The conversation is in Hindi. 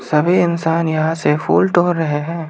सभी इंसान यहां से फूल तोड़ रहे हैं।